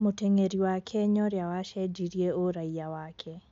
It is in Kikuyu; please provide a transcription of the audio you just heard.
Mũteng'eri wa Kenya ũria wacenjirie ũraiya wake.